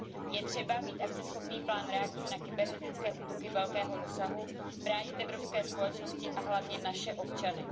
Je třeba mít akceschopný plán reakce na kybernetické útoky velkého rozsahu, bránit evropské společnosti a hlavně naše občany.